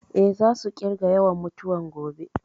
Eh, za su ƙirga yawan mutuwan gobe